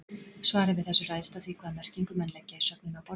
Svarið við þessu ræðst af því hvaða merkingu menn leggja í sögnina að borða.